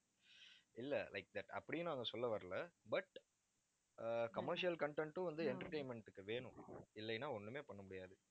இல்லை like that அப்படியும் நாங்க சொல்ல வரலை but ஆஹ் commercial content ம் வந்து, entertainment க்கு வேணும் இல்லைன்னா ஒண்ணுமே பண்ண முடியாது